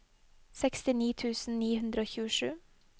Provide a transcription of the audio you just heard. sekstini tusen ni hundre og tjuesju